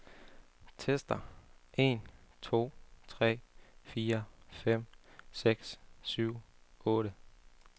Tester en to tre fire fem seks syv otte.